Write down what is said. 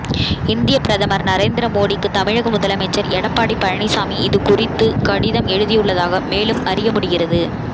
இந்தியப் பிரதமர் நரேந்திர மோடிக்கு தமிழக முதலமைச்சர் எடப்பாடி பழனிச்சாமி இது குறித்து கடிதம் எழுதியுள்ளதாக மேலும் அறிய முடிகிறது